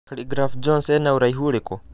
khaligraph Jones ena ũraihũ ũrĩkũ